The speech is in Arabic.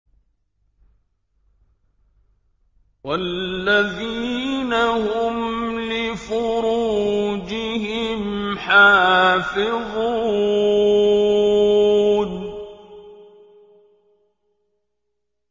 وَالَّذِينَ هُمْ لِفُرُوجِهِمْ حَافِظُونَ